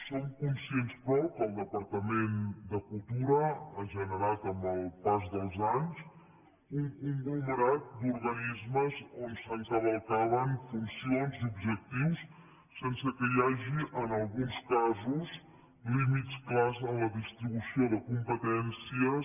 som conscients però que el departament de cultura ha generat amb el pas dels anys un conglomerat d’organismes on s’encavalcaven funcions i objectius sense que hi hagi en alguns casos límits clars en la distribució de competències